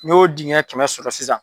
N'i y'o dingɛ kɛmɛ sɔrɔ sisan.